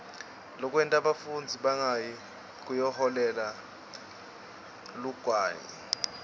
lokwenta bafundzi bangayi kuyoholela liguwane